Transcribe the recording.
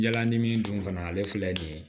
Yala ni min dun kana ale filɛ nin ye